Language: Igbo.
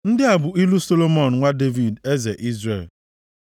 Ndị a bụ ilu Solomọn nwa Devid, eze Izrel.